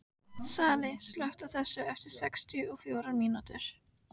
Salli, slökktu á þessu eftir sextíu og fjórar mínútur.